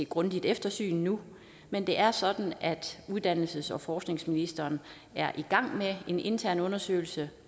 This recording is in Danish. grundigt eftersyn nu men det er sådan at uddannelses og forskningsministeren er i gang med en intern undersøgelse